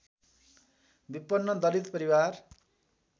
विपन्न दलित परिवार